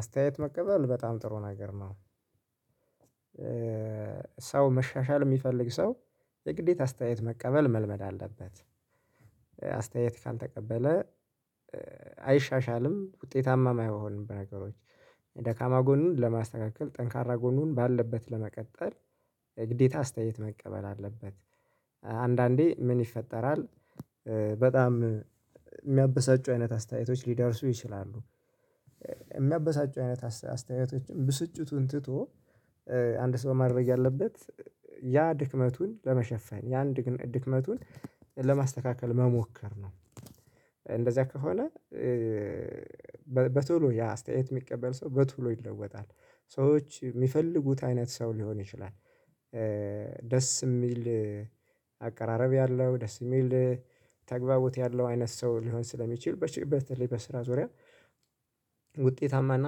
አስተያየት መቀበል በጣም ጥሩ ነገር ነው። ሰው መሻሻል የሚፈልግ ሰው የግዴታ አስተያየት መቀበል መልመድ አለበት። አስተያየት ካልተቀበለ አይሻሻልም ውጤታማም አይሆንም። በነገሮች ደካማ ጎኑን ለማስተካከል ጠንካራ ጎኑን ባለበት ለመቀጠል ግዴታ አስተያየት መቀበል አለበት። አንዳንዴ ምን ይፈጠራል? በጣም የሚያበሳጩ አይነት አስተያየቶች ሊደርሱ ይችላሉ። የሚያበሳጩ አይነት አስተያየቶችን ብስጭቱን ትቶ አንድ ሰው ማድረግ ያለበት ያ ድክመቱን ለመሸፈን ያን ድክመቱን ለማስተካከል መሞከር ነው። እንደዚያ ከሆነ። በቶሎ ያ አስተያየት የሚቀበል ሰው በቶሎ ይለወጣል ሰዎች የሚፈልጉት አይነት ሰው ሊሆን ይችላል። ደስ የሚል አቀራረብ ያለው ደስ የሚል ተግባቦት ያለው አይነት ሰው ሊሆን ስለሚችል በሽ በተለይ በስራ ዙሪያ። ውጤታማና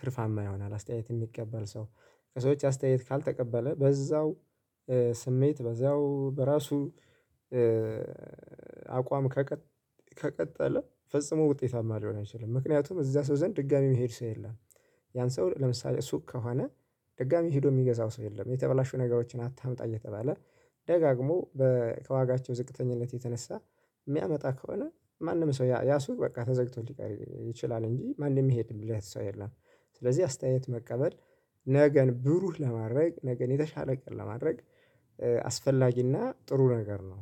ትርፋማ ይሆናል። አስተያየት የሚቀበል ሰው። ከሰዎች አስተያየት ካልተቀበለ በዛው ስሜት በዛው በራሱ አቋም ከቀጠለ ፈጽሞ ውጤታማ ሊሆን አይችልም ምክንያቱም እዛ ሰው ዘንድ ድጋሚ የሚሄድ ሰው የለም። ያን ሰው ለምሳሌ ሱቅ ከሆነ ድጋሚ ሄዶ የሚገዛው ሰው የለም። የተበላሹ ነገሮችን አታምጣ እየተባለ ደጋግሞ ከዋጋቸው ዝቅተኝነት የተነሳ የሚያመጣ ከሆነ ማንም ሰው ያ ሱቅ በቃ ተዘግቶ ሊቀር ይችላል እንጂ ማንም የሚሄድለት ሰው የለም። ስለዚህ አስተያየት መቀበል ነገን ብሩህ ለማድረግ ነገን የተሻለ ቀን ለማድረግ አስፈላጊና ጥሩ ነገር ነው።